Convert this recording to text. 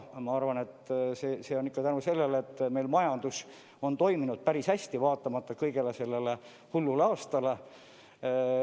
Ma arvan, et see on ikka tänu sellele, et meil majandus on toiminud päris hästi, vaatamata sellele hullule aastale.